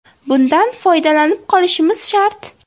Bundan foydalanib qolishimiz shart.